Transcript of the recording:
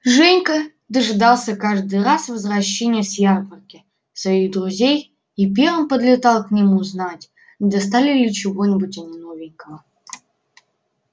женька дожидался каждый раз возвращения с ярмарки своих друзей и первым подлетал к ним узнать не достали ли чего-нибудь они новенького